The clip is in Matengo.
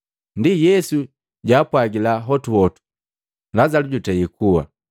Ndi, Yesu jwaapwagila hotuhotu, “Lazalu jutei kuwa,